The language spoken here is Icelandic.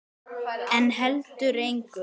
En heldur engu.